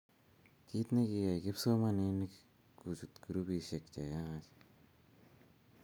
kiit ni ko kiyai kipsomaninik kochut grupisiek che yaach